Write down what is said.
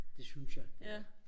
det synes jeg det er